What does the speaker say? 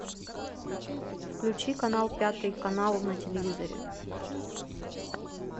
включи канал пятый канал на телевизоре